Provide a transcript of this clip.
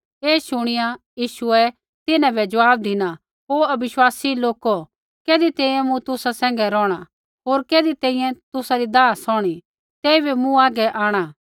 ऐ शुणिया यीशुऐ तिन्हां बै ज़वाब धिना ओ अविश्वासी लौको कैधी तैंईंयैं मूँ तुसा सैंघै रोहणा होर कैधी तैंईंयैं तुसा री दाह सौहणी तेइबै मूँ आगै आंणा